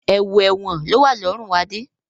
Ẹ̀wù ẹ̀wọ̀n lowa lọrun Adé